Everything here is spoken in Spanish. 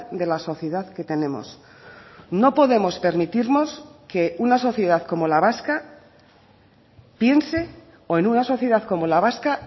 de la sociedad que tenemos no podemos permitirnos que una sociedad como la vasca piense o en una sociedad como la vasca